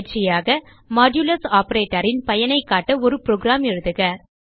பயிற்சியாக மாடுலஸ் operatorன் பயனைக் காட்ட ஒரு புரோகிராம் எழுதுக